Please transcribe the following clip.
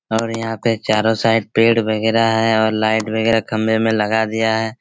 और यहाँ पे चारो साइड पेड़ वेगेरा है और लाइट वगेरा खम्बे में लगा दिया है।